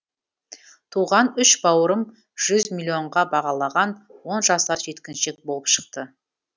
туған үш бауырын жүз миллионға бағалаған он жасар жеткіншек болып шықты